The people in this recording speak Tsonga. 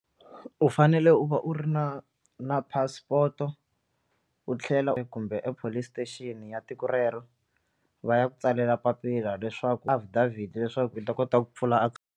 U fanele u va u ri na na passport-o u tlhela kumbe epolice station ya tiko rero va ya ku tsalela papila leswaku affidavit leswaku u ta kota ku pfula .